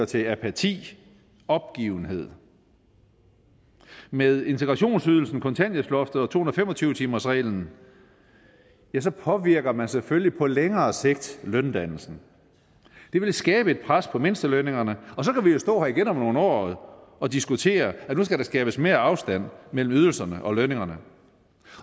til apati opgivenhed med integrationsydelsen kontanthjælpsloftet og to hundrede og fem og tyve timersreglen påvirker man selvfølgelig på længere sigt løndannelsen det vil skabe et pres på mindstelønningerne og så kan vi jo stå her igen om nogle år og diskutere at nu skal der skabes mere afstand mellem ydelserne og lønningerne